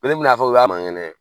a fɔ u y'a man ŋɛnɛ